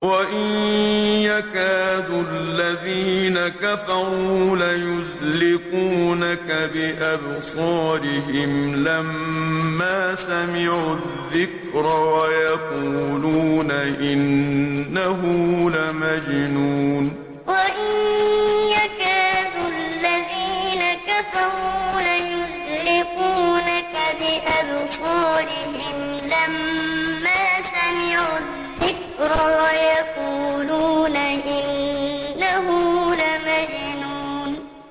وَإِن يَكَادُ الَّذِينَ كَفَرُوا لَيُزْلِقُونَكَ بِأَبْصَارِهِمْ لَمَّا سَمِعُوا الذِّكْرَ وَيَقُولُونَ إِنَّهُ لَمَجْنُونٌ وَإِن يَكَادُ الَّذِينَ كَفَرُوا لَيُزْلِقُونَكَ بِأَبْصَارِهِمْ لَمَّا سَمِعُوا الذِّكْرَ وَيَقُولُونَ إِنَّهُ لَمَجْنُونٌ